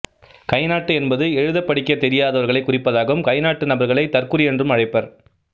கைநாட்டு என்பது எழுதப்படிக்க தெரியாதவர்களை குறிப்பதாகும் கைநாட்டு நபர்களை தற்குறி என்றும் அழைப்பர்